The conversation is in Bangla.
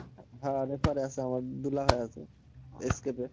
হ্যাঁ refer এ আছে আমার দুলাভাই আছে